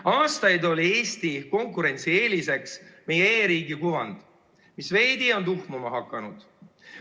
Aastaid oli Eesti konkurentsieeliseks meie e-riigi kuvand, mis on veidi tuhmuma hakanud.